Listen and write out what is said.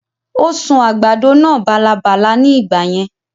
Ó sun àgbàdo náà bálabàla ní ìgbà yẹn